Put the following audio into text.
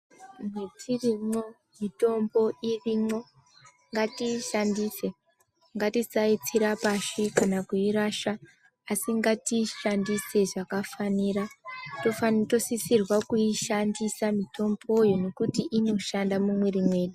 Mwetirimwo mitombo irimwo. Ngatiishandise, ngatisaitsira pashi kana kuirasha, asi ngatiishandise zvakafanira. Tofani tosisirwa kuishandisa mitomboyo, nekuti inoshanda mumwiiri mwedu.